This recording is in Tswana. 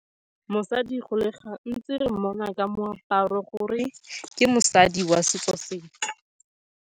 Mosadi go le gantsi re mmona ka moaparo, gore ke mosadi wa setso sentle.